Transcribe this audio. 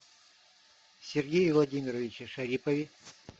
сергее владимировиче шарипове